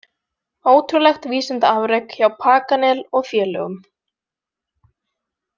Ótrúlegt vísindaafrek hjá Paganel og félögum.